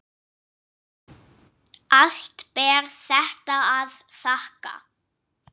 Allt ber þetta að þakka.